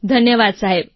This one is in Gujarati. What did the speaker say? ધન્યવાદ સાહેબ